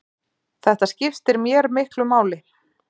Þetta skiptir mér miklu máli.